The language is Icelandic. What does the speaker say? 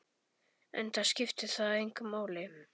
Enda skipti það engu máli.